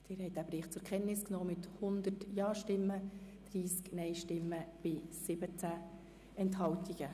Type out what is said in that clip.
Sie haben den Bericht zur Kenntnis genommen mit 100 Ja-, 30 Nein-Stimmen und 17 Enthaltungen.